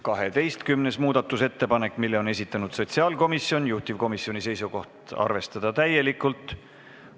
12. muudatusettepaneku on esitanud sotsiaalkomisjon, juhtivkomisjoni seisukoht on arvestada seda täielikult.